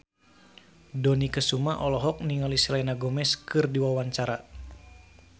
Dony Kesuma olohok ningali Selena Gomez keur diwawancara